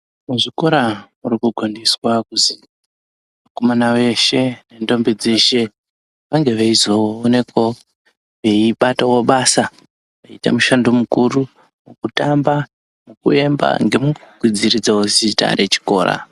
Muzvikora murikukombidzwa kuzi vakomana veshe nendombi dzeshe vange veizoonikwawo veibatawo basa veita mushando mukuru mukutamba mukuemba ngemukukwidziridzawo zita rechikora.